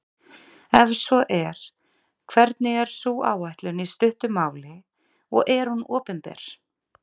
Ef svo er, hvernig er sú áætlun í stuttu máli og er hún opinber?